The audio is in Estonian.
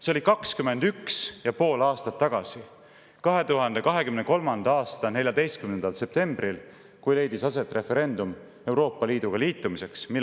See oli 21 ja pool aastat tagasi, 2023. aasta 14. septembril, kui leidis aset referendum Euroopa Liiduga liitumise küsimuses.